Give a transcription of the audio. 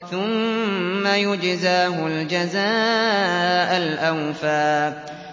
ثُمَّ يُجْزَاهُ الْجَزَاءَ الْأَوْفَىٰ